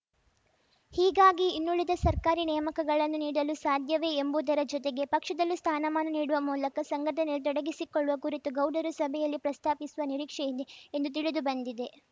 ಹೀಗಾಗಿ ಇನ್ನುಳಿದ ಸರ್ಕಾರಿ ನೇಮಕಗಳನ್ನು ನೀಡಲು ಸಾಧ್ಯವೇ ಎಂಬುದರ ಜೊತೆಗೆ ಪಕ್ಷದಲ್ಲೂ ಸ್ಥಾನಮಾನ ನೀಡುವ ಮೂಲಕ ಸಂಘಟನೆಯಲ್ಲಿ ತೊಡಗಿಸಿಕೊಳ್ಳುವ ಕುರಿತು ಗೌಡರು ಸಭೆಯಲ್ಲಿ ಪ್ರಸ್ತಾಪಿಸುವ ನಿರೀಕ್ಷೆಯಿದೆ ಎಂದು ತಿಳಿದು ಬಂದಿದೆ